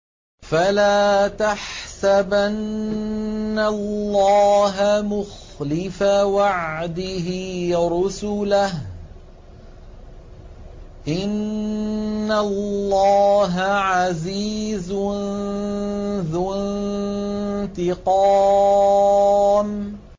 فَلَا تَحْسَبَنَّ اللَّهَ مُخْلِفَ وَعْدِهِ رُسُلَهُ ۗ إِنَّ اللَّهَ عَزِيزٌ ذُو انتِقَامٍ